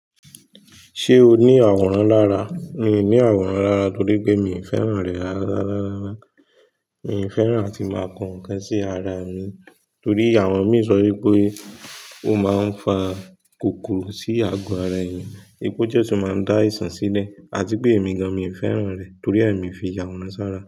Ṣé o ní àwòrán lára? Mi ò ní àwòrán lára torí pé mi ò fẹ́ràn rẹ̀ lára. Mi ò fẹ́ràn tí máa kan ǹkan sí ara mi torí àwọn mi sọ wípé ó máa ń fa kòkòrò sí ago ara èèyàn, ipe oo tó máa ń dá aìṣàn sílẹ̀ àti pé èmi gan mi ò fẹ́ràn rẹ̀ torí ee mi fi yàwòrán sára.